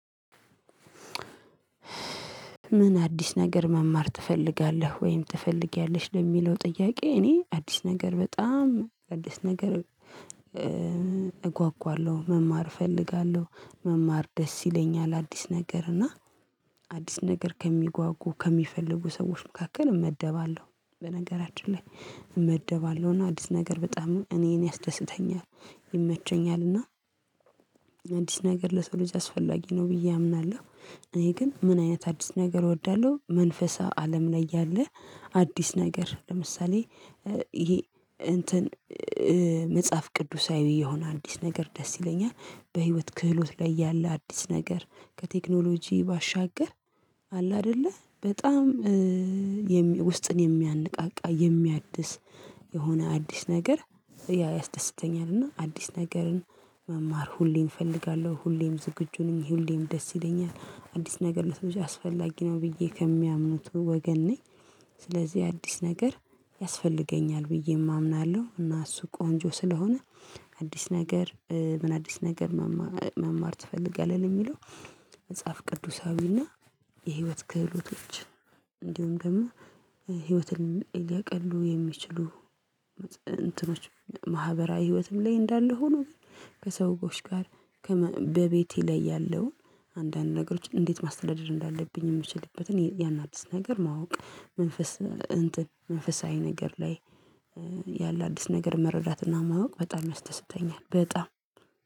ምን አዲስ ነገር መማር ትፈልጋለህ ወይም ትፈልጊያለሽ? ለሚለው ጥያቄ እኔ አዲስ ነገር በጣም አዲስ ነገር እጓጓለሁ መማር እፈልጋለሁ። መማር ደስ ይለኛል አዲስ ነገር። እና አዲስ ነገር ከሚጓጉ ከሚፈልጉ ሰዎች መካከል እመደባለሁ፤ በነገራችን ላይ እመደባለሁ። እና አዲስ ነገር በጣም እኔን ያስደስተኛል ይመቸኛል። እና አዲስ ነገር ለሰው ልጅ አስፈላጊ ነው ብዬ አምናለሁ። እኔ ግን ምን አይነት አዲስ ነገር እወዳለሁ መንፈሳዊ አለም ላይ ያለ አዲስ ነገር ለምሳሌ ይሄ እንትን መጽሐፍ ቅዱሳዊ የሆነ አዲስ ነገር ደስ ይለኛል። በህይወት ክህሎት ላይ ያለ አዲስ ነገር ከቴክኖሎጂ ባሻገር አለ አይደለ በጣም ውስጥን የሚያነቃቃ የሚያድስ የሆነ አዲስ ነገር ያስደስተኛል። እና አዲስ ነገርን መማር ሁሌም እፈልጋለሁ። ሁሌም ዝግጁ ነኝ፤ ሁሌም ደስ ይለኛል፤ አዲስ ነገር ነው ያስፈላጊ ነው ብዬ ከሚያምኑት ወገን ነኝ፤ ስለዚህ አዲስ ነገር ያስፈልገኛል ብዬም አምናለሁ። እና እሱ ቆንጆ ስለሆነ አዲስ ነገር ምን አዲስ ነገር መማር ትፈልጋለህ? ለሚለው መጽሐፍ ቅዱሳዊና የህይወት ክህሎቶች እንዲሁም ደግሞ ህይወትን ሊያቀሉ የሚችሉ እንትኖች ማህበራዊ ህይወትም ላይ እንዳለ ሆኖ ከሰውዎች ጋር በቤቴ ላይ ያለውን አንዳንድ ነገሮች እንዴት ማስተዳደር እንዳለብኝ የምችልበትን ያን አድስ ነገር ማወቅ። መንፈስ እንትን መንፈሳዊ ነገር ላይ ያለ አዲስ ነገር መረዳትና ማወቅ በጣም ያስተስተኛል። በጣም